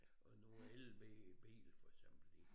Og nu elbil for eksempel i